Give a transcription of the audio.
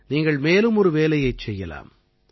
நீங்கள் மேலும் ஒரு வேலையைச் செய்யலாம்